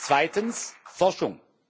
Zweitens Forschung.